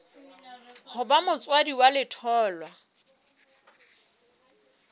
ho ba motswadi wa letholwa